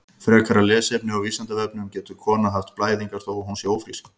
Frekara lesefni á Vísindavefnum: Getur kona haft blæðingar þó að hún sé ófrísk?